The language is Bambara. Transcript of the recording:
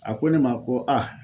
A ko ne ma ko a